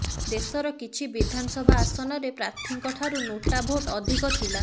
ଦେଶର କିଛି ବିଧାନସଭା ଆସନରେ ପ୍ରାର୍ଥୀଙ୍କ ଠାରୁ ନୋଟା ଭୋଟ୍ ଅଧିକ ଥିଲା